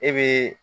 E be